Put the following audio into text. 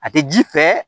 A tɛ ji fɛ